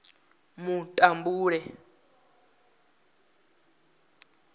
mutambule